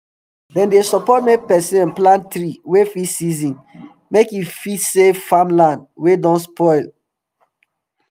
dem dey support make person um plant tree wey fit season make e fit save farm land wey don spoil don spoil